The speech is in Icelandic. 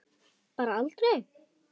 Bara aldrei.